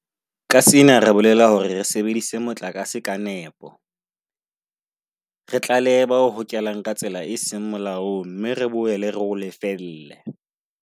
Ka sena re bolela hore re sebedise motlakase ka nepo, re tlalehe ba o hokelang ka tsela e seng molaong mme re boele re o lefelle.